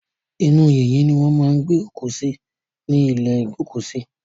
Inú yìnyín ni wọ́n máa ń gbé òkú sí ní ìlé ìgbókùsí.